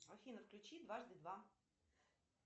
афина включи дважды два